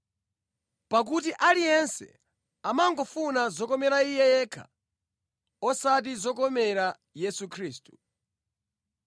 Pakuti aliyense amangofuna zokomera iye yekha osati zokomera Yesu Khristu.